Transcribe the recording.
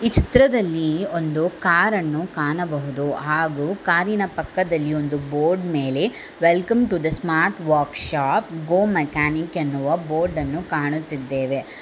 ಚಿತ್ರದಲ್ಲಿ ಒಂದು ಕಾರನ್ನು ಕಾಣಬಹುದು ಹಾಗೂ ಕಾರಿನ ಪಕ್ಕದಲ್ಲಿ ಒಂದು ಬೋರ್ಡ್ ಮೇಲೆ welcome to the smart workshop go mechanic ಎನ್ನುವ ಬೋರ್ಡ ನ್ನು ಕಾಣುತ್ತಿದ್ದೇವೆ.